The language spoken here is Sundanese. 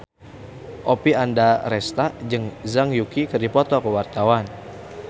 Oppie Andaresta jeung Zhang Yuqi keur dipoto ku wartawan